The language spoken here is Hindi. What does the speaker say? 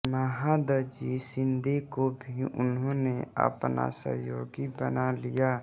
महादजी शिंदे को भी उन्होंने अपना सहयोगी बना लिया